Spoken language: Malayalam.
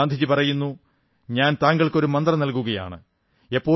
അതിൽ ഗാന്ധിജി പറയുന്നു ഞാൻ താങ്കൾക്ക് ഒരു മന്ത്രം നൽകുകയാണ്